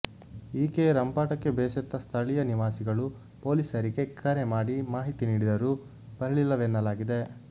ಈಕೆಯ ರಂಪಾಟಕ್ಕೆ ಬೇಸತ್ತ ಸ್ಥಳೀಯ ನಿವಾಸಿಗಳು ಪೊಲೀಸರಿಗೆ ಕರೆ ಮಾಡಿ ಮಾಹಿತಿ ನೀಡಿದರೂ ಬರಲಿಲ್ಲವೆನ್ನಲಾಗಿದೆ